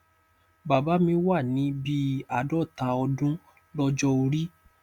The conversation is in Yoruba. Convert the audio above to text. bàbá mi wà ní bí i àádọta ọdún lọjọ orí